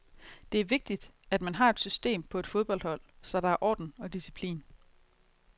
Det er vigtigt, man har et system på et fodboldhold, så der er orden og disciplin.